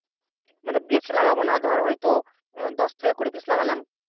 মানে বেছে লাগাব না ধর হয়তো দশ থেকে কুড়ি পিস লাগালাম।